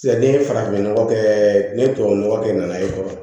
Sisan ni ye farafin nɔgɔ kɛ ni tubabu nɔgɔ kɛ nana i kɔrɔ